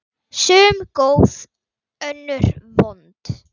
Sum góð, önnur vond.